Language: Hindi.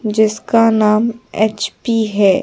जिसका नाम एच_पी है।